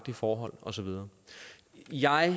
forhold og så videre jeg